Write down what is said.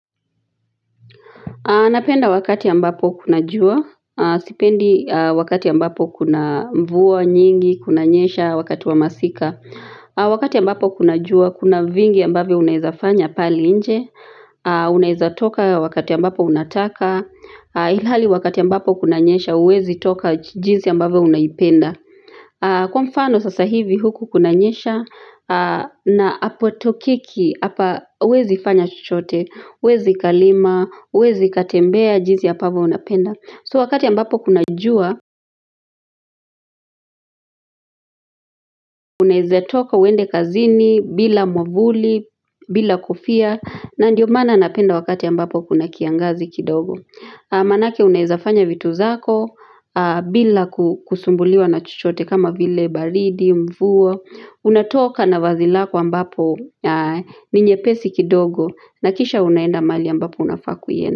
Napenda wakati ambapo kuna jua, sipendi wakati ambapo kuna mvua nyingi kunanyesha wakati wa masika wakati ambapo kuna jua, kuna vingi ambavyo unaweza fanya pale nje Unaweza toka wakati ambapo unataka, ilhali wakati ambapo kunanyesha, huwezi toka jinsi ambavyo unaipenda. Kwa mfano sasa hivi huku kunanyesha na apotokeki hapa wezi fanya chochote, huwezi kalima, huwezi katembea jinsi ambavyo unapenda. So wakati ambapo kuna jua, Unawezatoka uende kazini, bila mwavuli, bila kofia na ndio maana napenda wakati ambapo kuna kiangazi kidogo Manake unezafanya vitu zako, bila kusumbuliwa na chochote kama vile baridi, mvua unatoka na vazi lako ambapo ni nyepesi kidogo na kisha unaenda mahali ambapo unafaa ku.